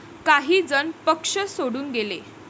काही जण पक्ष सोडून गेले.